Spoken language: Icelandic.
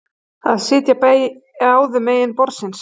Að sitja báðum megin borðsins